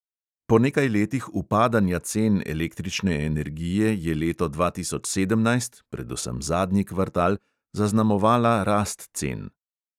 Po nekaj letih upadanja cen električne energije je leto dva tisoč sedemnajst, predvsem zadnji kvartal, zaznamovala rast cen.